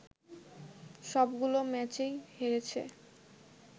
সবগুলো ম্যাচেই হেরেছে